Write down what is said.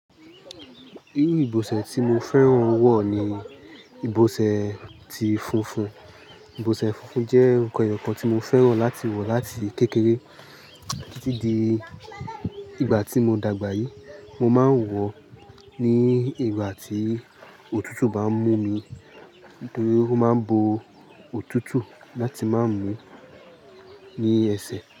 Irú ìbọsẹ̀ tí mo fẹ́ràn wọ̀ ni ìbọsẹ̀ tí funfun. Ìbọsẹ̀ funfun jẹ́ nkan ẹyọkan tí mo fẹ́ràn láti wọ̀ láti kékeré títí di ìgbà tí mo dàgbàyí. Mo má ń wọ̀ ní ìgbà tí òtútù bá ń mú mi nítorí ó má bo òtútù láti má mú ni ẹsẹ̀.